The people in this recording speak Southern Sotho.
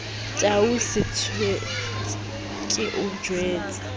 tau setswetse ke o jwetse